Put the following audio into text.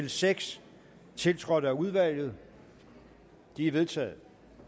en seks tiltrådt af udvalget de er vedtaget